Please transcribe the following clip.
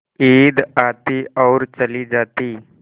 ईद आती और चली जाती